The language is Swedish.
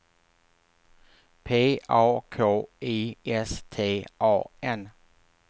P A K I S T A N